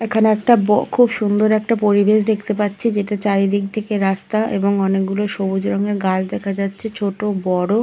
এখানে একটা ব খুব সুন্দর একটা পরিবেশ দেখতে পাচ্ছি দুটো চারিদিক থেকে রাস্তা অনেক গুলো সুন্দর গাছ দেখা যাচ্ছে ছোট বড়।